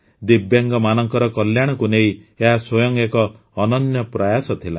ଦିବ୍ୟାଙ୍ଗମାନଙ୍କର କଲ୍ୟାଣକୁ ନେଇ ଏହା ସ୍ୱୟଂ ଏକ ଅନନ୍ୟ ପ୍ରୟାସ ଥିଲା